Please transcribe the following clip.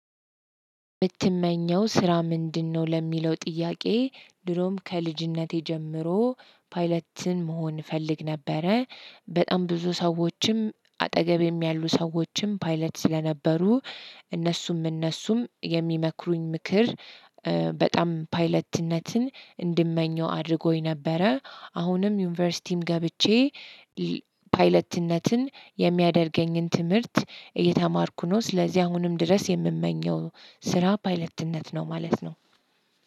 የምትመኘው ስራ ምንድነው? ለሚለው ጥያቄ ድሮም ከልጅነቴ ጀምሮ ፓይለት መሆን እፈልግ ነበረ። በጣም ብዙ ሰዎችም አጠገቤም ያሉ ሰዎችም ፓይለት ስለነበሩ። እነሱም እነሱም የሚመክሩኝ ምክር በጣም ፓይለትነትን እንድመኘው አድርጎኝ ነበረ። አሁንም ዩኒቨርሲቲም ገብቼ ፓይለትነትን የሚያደርገኝን ትምህርት እየተማርኩ ነው። ስለዚህ አሁንም ድረስ የምመኘው ስራ ፓይለትነት ነው ማለት ነው።